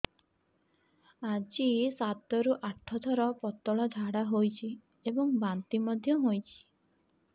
ଆଜି ସାତରୁ ଆଠ ଥର ପତଳା ଝାଡ଼ା ହୋଇଛି ଏବଂ ବାନ୍ତି ମଧ୍ୟ ହେଇଛି